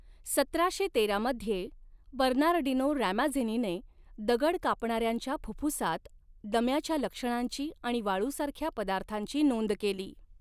सतराशे तेरा मध्ये, बर्नार्डिनो रॅमाझिनीने दगड कापणाऱ्यांच्या फुफ्फुसात दम्याच्या लक्षणांची आणि वाळूसारख्या पदार्थांची नोंद केली.